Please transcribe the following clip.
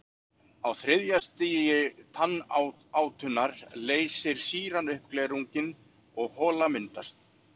Á þriðja stigi tannátunnar leysir sýran upp glerunginn og hola myndast.